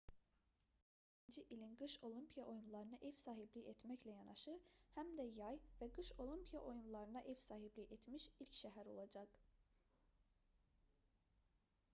çinin pekin şəhəri 2022-ci ilin qış olimpiya oyunlarına ev sahibliyi etməklə yanaşı həm də yay və qış olimpiya oyunlarına ev sahibliyi etmiş ilk şəhər olacaq